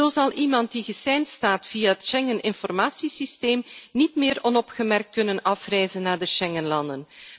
Zo zal iemand die geseind staat via het Schengen Informatie Systeem, niet meer onopgemerkt kunnen afreizen naar de Schengenlanden.